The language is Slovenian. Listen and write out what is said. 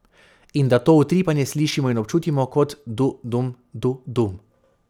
In da to utripanje slišimo in občutimo kot du dum, du dum ...